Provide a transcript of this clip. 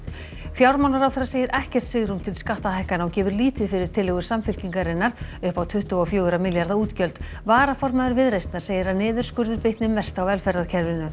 fjármálaráðherra segir ekkert svigrúm til skattahækkana og gefur lítið fyrir tillögur Samfylkingarinnar upp á tuttugu og fjóra milljarða útgjöld varaformaður Viðreisnar segir að niðurskurður bitni mest á velferðarkerfinu